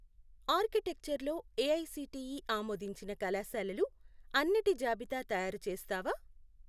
Architecture లో AICTE ఆమోదించిన కళాశాలలు అన్నిటి జాబితా తయారుచేస్తావా?